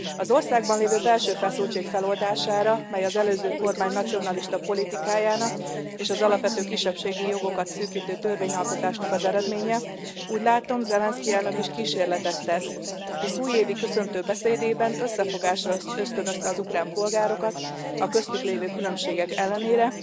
Az országban lévő belső feszültség feloldására, mely az előző kormány nacionalista politikájának és az alapvető kisebbségi jogokat szűkítő törvényalkotásnak az eredménye, úgy látom, Zelensky elnök is kísérletet tesz, hisz újévi köszöntő beszédében összefogásra ösztönözte az ukrán polgárokat a köztük lévő különbségek ellenére,